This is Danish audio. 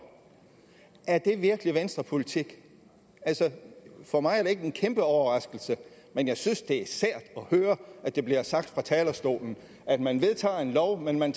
er det virkelig venstrepolitik altså for mig er det ikke en kæmpeoverraskelse men jeg synes det er sært at høre at der bliver sagt fra talerstolen at man vedtager en lov men man